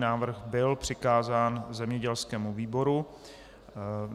Návrh byl přikázán zemědělskému výboru.